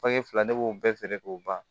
Fange fila ne b'o bɛɛ feere k'o ban